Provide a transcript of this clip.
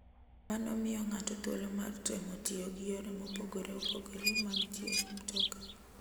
Mano miyo ng'ato thuolo mar temo tiyo gi yore mopogore opogore mag tiyo gi mtoka.